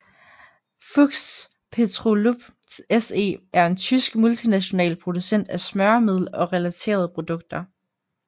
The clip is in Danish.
Fuchs Petrolub SE er en tysk multinational producent af smøremiddel og relaterede produkter